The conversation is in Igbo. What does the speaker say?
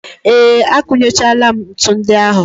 Ee, akụnyechaala m ntu ndị ahụ.